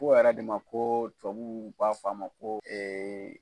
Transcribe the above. ko yɛrɛ de ma ko tubabuw b'a f'a ma ko